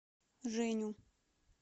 женю